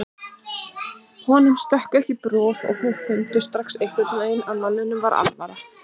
Honum stökk ekki bros og þau fundu strax einhvern veginn að manninum var alvara.